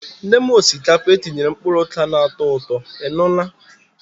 Nye m osikapa etinyere mkpụrụ oka na-atọ ụtọ, ị nụla?